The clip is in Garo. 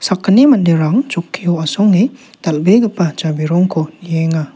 sakgni manderang chokkio asonge dal·begipa jabirongko nienga.